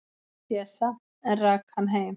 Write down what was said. """Pésa, en rak hann heim."""